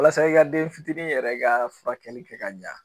Walasa i ka den fitini yɛrɛ ka furakɛli kɛ ka ɲa